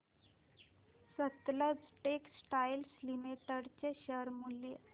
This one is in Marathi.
सतलज टेक्सटाइल्स लिमिटेड चे शेअर मूल्य